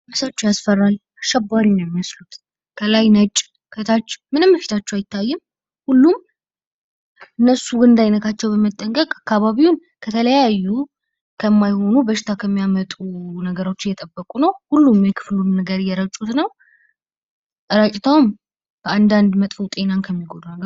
ምስሎች ያስፈራል። አሸባሪ ነዉ የሚመስሉት ከላይ ነጭ ከታች ምንም ፊታቸዉ አይታይም። ሁሉም እነሱ እንዳይነካቸዉ በመጠንቀቅ አካባቢዉን ከተለያዩ ከማይሆኑ በሽታ ከሚያመጡ ነገሮች እየጠቁ ነዉ። ሁሉም የክፍሉን ነገር እየረጩ ነዉ።